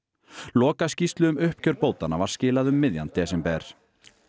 lokaskýrslu um uppgjör bótanna var skilað um miðjan desember